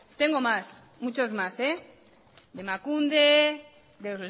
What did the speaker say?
tengo más muchos más de emakunde de